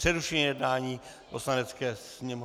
Přerušuji jednání Poslanecké sněmovny...